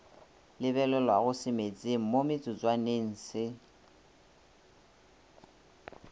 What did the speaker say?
lebelelwago semetseng mo metsotswaneng se